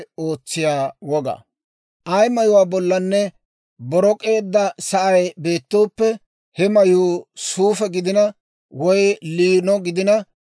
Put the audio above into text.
«Ay mayuwaa bollanne borok'eedda sa'ay beettooppe, he mayuu suufe gidina woy liino gidina,